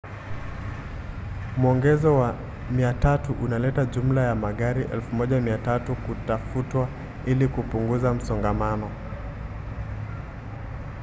mwongezo wa 300 unaleta jumla ya magari 1,300 kutafutwa ili kupunguza msongamano